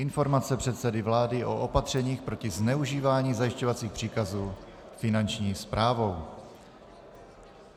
Informace předsedy vlády o opatřeních proti zneužívání zajišťovacích příkazů Finanční správou